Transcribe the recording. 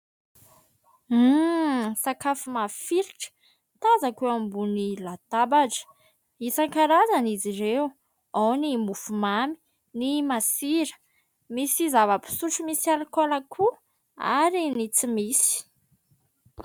Sakafo mafilotra tazako eo ambony latabatra. Isan-karazan' izy ireo ao ny mofo mamy, ny masira, misy zava-pisotro misy alikaola koa ary ny tsy misy.